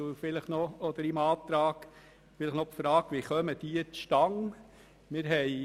In diesem StG gibt es zwei Tarife.